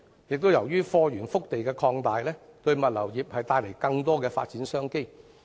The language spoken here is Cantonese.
再者，由於貨源腹地擴大，物流業因而獲得更多發展商機。